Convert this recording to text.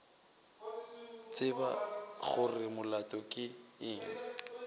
tseba gore molato ke eng